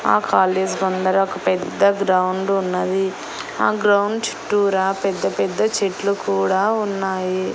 ఆ కాలేజీ ముందర ఒక పెద్ద గ్రౌండ్ ఉన్నది ఆ గ్రౌండ్ చుట్టూరా పెద్ద పెద్ద చెట్లు కూడా ఉన్నాయి.